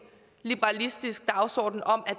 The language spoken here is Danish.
liberalistisk dagsorden om at